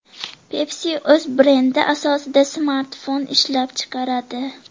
Pepsi o‘z brendi ostida smartfon ishlab chiqaradi.